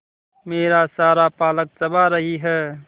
मेरा सारा पालक चबा रही है